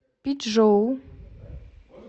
пичжоу